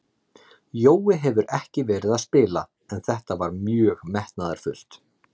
Jói hefur ekki verið að spila en þetta var mjög metnaðarfullt.